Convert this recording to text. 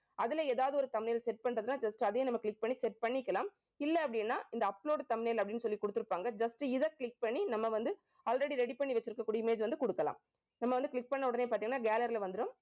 அதுல ஏதாவது ஒரு thumbnail set பண்றதுன்னா just அதையும் நம்ம click பண்ணி set பண்ணிக்கலாம். இல்லை அப்படின்னா இந்த upload thumbnail அப்படின்னு சொல்லி கொடுத்திருப்பாங்க. just இதை click பண்ணி நம்ம வந்து, already ready பண்ணி வச்சிருக்கக்கூடிய image வந்து கொடுக்கலாம். நம்ம வந்து click பண்ண உடனே பார்த்தீங்கன்னா gallery ல வந்துரும்